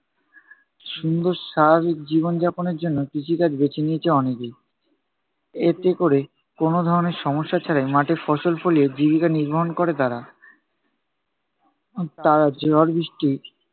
সুন্দর স্বাভাবিক জীবন যাপনের জন্য কৃষিকাজ বেছে নিয়েছে অনেকেই। এতে কোরে কোনো ধরনের সমস্যা ছাড়াই, মাঠে ফসল ফলিয়ে জীবিকা নির্বাহন করে তারা। উহ তারা ঝড় বৃষ্টি